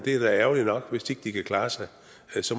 er da ærgerligt nok hvis ikke de kan klare sig